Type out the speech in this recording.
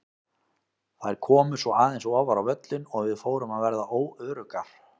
Þær komu svo aðeins ofar á völlinn og við fórum að verða óöruggar.